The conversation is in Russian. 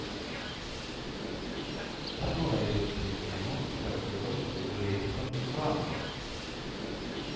что найдется из кино с актером джеймсом франко